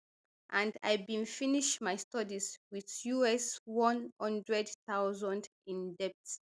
and i bin finish my studies wit us one hundred thousand in debt